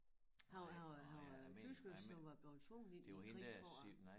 Han var han var han var tysker som var blevet tvunget ind i æ krig for at